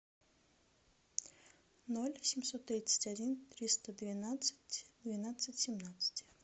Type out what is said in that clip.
ноль семьсот тридцать один триста двенадцать двенадцать семнадцать